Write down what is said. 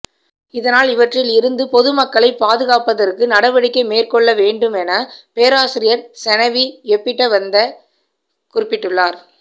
இதனால் இவற்றில் இருந்து பொது மக்களை பாதுகாப்பதற்கு நடவடிக்கை மேற்கொள்ள வேண்டுமென பேராசிரியர் செனவி எப்பிட்டவத்த குறிப்பிட்டுள்ளார்